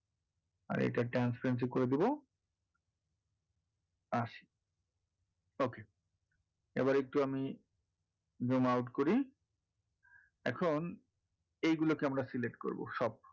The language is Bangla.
আর এটার transparency করে দেবো আশি okay এবারে একটু আমি zoom out করি এখন এইগুলো কে আমরা select করবো সব,